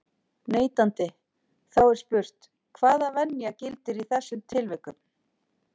neitandi, þá er spurt, hvaða venja gildir í þessum tilvikum?